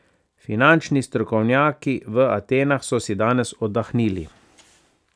Finančni strokovnjaki v Atenah so si danes oddahnili.